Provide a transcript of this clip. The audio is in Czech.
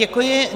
Děkuji.